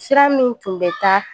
Sira min tun bɛ taa